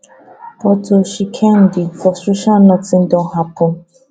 but to tshisikedi frustration notin don happun